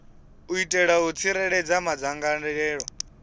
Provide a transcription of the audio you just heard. u itela u tsireledza madzangalelo